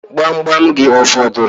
Gbamgbam gị ọ fọdụrụ?